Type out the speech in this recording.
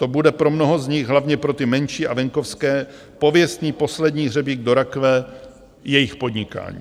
To bude pro mnoho z nich, hlavně pro ty menší a venkovské, pověstný poslední hřebík do rakve jejich podnikání.